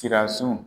Siransun